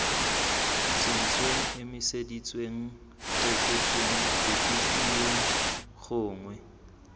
sentsweng emiseditsweng fetotsweng ripitlilweng gongwe